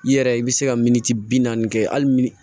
I yɛrɛ i bɛ se ka min bi naani kɛ hali